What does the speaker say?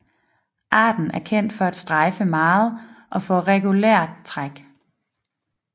Arten er kendt for at strejfe meget og for regulært træk